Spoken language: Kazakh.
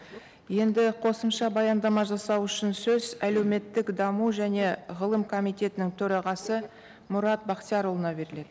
енді қосымша баяндама жасау үшін сөз әлеуметтік даму және ғылым комитетінің төрағасы мұрат бақтиярұлына беріледі